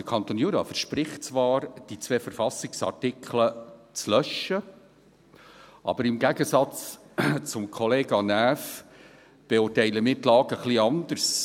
Der Kanton Jura verspricht zwar, die zwei Verfassungsartikel zu löschen, aber im Gegensatz zum Kollegen Näf beurteilen wir die Lage etwas anders.